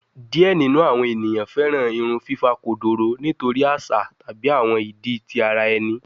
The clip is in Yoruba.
Diẹ ninu awọn eniyan fẹran irun fifa kodoro nitori aṣa tabi awọn idi ti ara ẹni